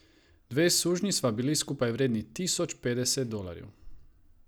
Dve sužnji sva bili skupaj vredni tisoč petdeset dolarjev.